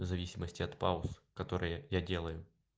в зависимости от пауз которые я делаю